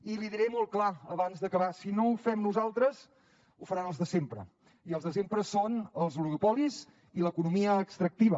i l’hi diré molt clar abans d’acabar si no ho fem nosaltres ho faran els de sempre i els de sempre són els oligopolis i l’economia extractiva